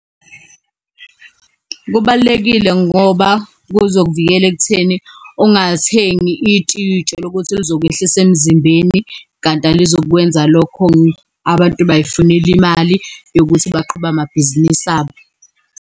Kubalulekile ngoba kuzokuvikela ekutheni ungathengi itiye uy'tshela ukuthi lizokwehlisa emzimbeni, kanti alizukukwenza lokho. Abantu bay'funela imali yokuthi baqhube amabhizinisi abo.